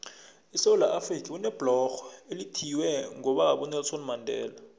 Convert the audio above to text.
esewula afrika kunebhlorho elithiyelelwe ngobaba unelson mandela